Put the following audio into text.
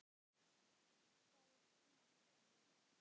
Það er dýrmætt fyrir mig.